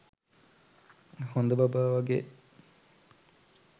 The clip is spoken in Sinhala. හොඳ බබා වගේ